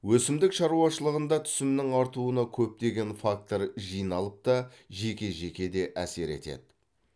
өсімдік шаруашылығында түсімнің артуына көптеген фактор жиналып та жеке жеке де әсер етеді